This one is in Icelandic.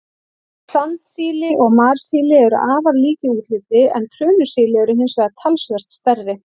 Sandsíli og marsíli eru afar lík í útliti, en trönusíli eru hins vegar talsvert stærri.